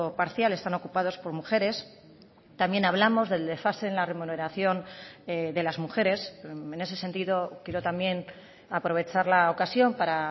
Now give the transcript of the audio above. parcial están ocupados por mujeres también hablamos del desfase en la remuneración de las mujeres en ese sentido quiero también aprovechar la ocasión para